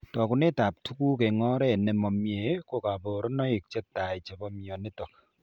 Tokunetab tuguk eng' oret nemamie ko kaborunoik chetai chebo mionitok